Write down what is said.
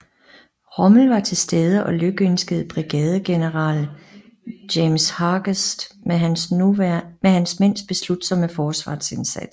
Rommel var til stede og lykønskede brigadegeneral James Hargest med hans mænds beslutsomme forsvarsindsats